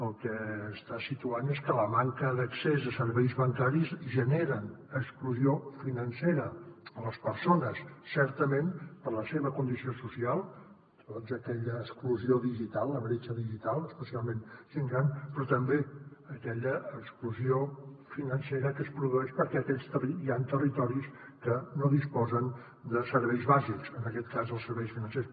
el que està situant és que la manca d’accés a serveis bancaris genera exclusió financera a les persones certament per la seva condició social aquella exclusió digital la bretxa digital especialment gent gran però també aquella exclusió financera que es produeix perquè hi han territoris que no disposen de serveis bàsics en aquest cas dels serveis financers